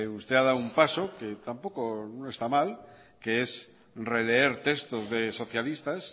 usted ha dado un paso que tampoco no esta mal que es releer textos de socialistas